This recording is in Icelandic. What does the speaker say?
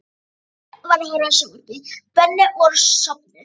Konan mín var að horfa á sjónvarpið, börnin voru sofnuð.